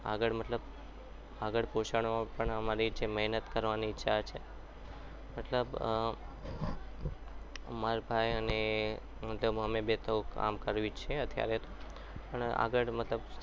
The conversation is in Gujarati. આગળ મતલબ આગળ પોષણમાં પણ અમારી મહેનત કરવાની ઈચ્છા છે મતલબ મારા ભાઈ અને મતલબ અમે બે તો કામ કરવી છે અત્યારે